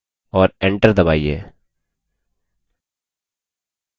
और enter दबाइए